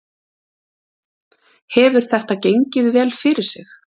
Hefur þetta gengið vel fyrir sig?